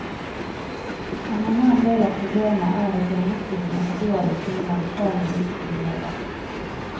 Han mener en del av problemet er at hjemmeskolen er for dårlig til å melde fra når det ikke fungerer.